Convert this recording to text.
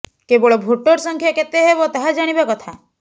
କେବଳ ଭୋଟର ସଂଖ୍ୟା କେତେ ହେବ ତାହା ଜାଣିବା କଥା